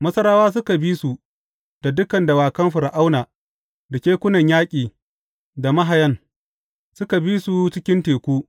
Masarawa suka bi su da dukan dawakan Fir’auna, da kekunan yaƙi, da mahayan, suka bi su cikin teku.